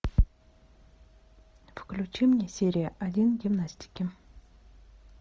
включи мне серия один гимнастики